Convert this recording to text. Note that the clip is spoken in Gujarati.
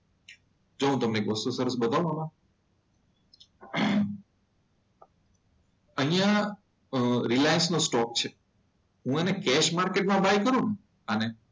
જો હું તમને એક વસ્તુ સરસ બતાવો આમાં. અહીંયા રિલાયન્સ નો સ્ટોક છે. હું એને કેસ માર્કેટમાં બાય કરું ને આને.